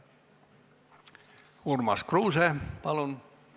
Urmas Kruuse, palun!